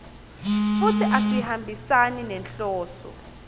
futsi asihambisani nenhloso